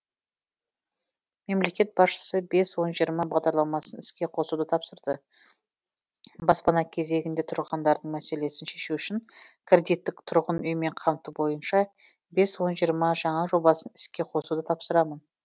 мемлекет басшысы бес он жиырма бағдарламасын іске қосуды тапсырды баспана кезегінде тұрғандардың мәселесін шешу үшін кредиттік тұрғын үймен қамту бойынша бес он жиырма жаңа жобасын іске қосуды тапсырамын